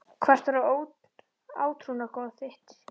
Hvert var átrúnaðargoð þitt?